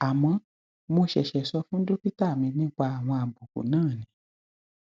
àmọ mo ṣẹṣẹ sọ fún dókítà mi nípa àwọn àbùkù náà ni